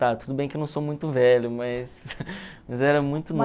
tudo bem que eu não sou muito velho, mas mas era muito